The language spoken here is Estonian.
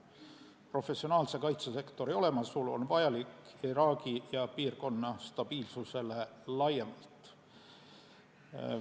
Professionaalse kaitsesektori olemasolu on vajalik Iraagi ja piirkonna stabiilsusele laiemalt.